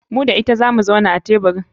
Ni da ita zamu zauna a teburin.